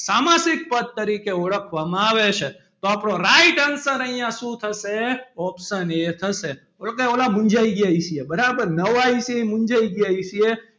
સામાસિક પદ તરીકે ઓળખવામાં આવે છે તો આપડો right answer અહિયાં શું થશે option A થશે પેલો કે ઓલા મુંજાઈ ગયાં હશે બરાબર નવાં આવ્યાં હશે એ મુંજાઈ ગયાં હશે.